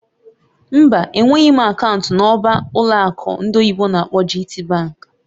Mba, enweghị m akaụntụ nọ̀mbà ụlọ akụ ndị oyibo n'akpọ "GTbank"